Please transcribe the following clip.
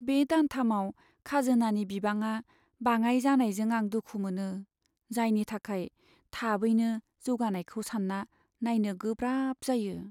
बे दानथामाव खाजोनानि बिबाङा बाङाइ जानायजों आं दुखु मोनो, जायनि थाखाय थाबैनो जौगानायखौ सान्ना नायनो गोब्राब जायो।